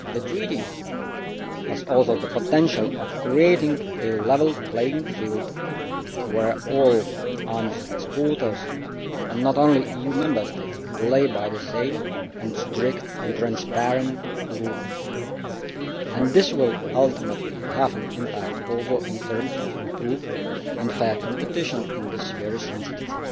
The treaty also has the potential to create a level playing field where all arms exporters and not only new Member States play by the same strict and transparent rules, and this will ultimately have an impact in terms of improved and fair competition in this very sensitive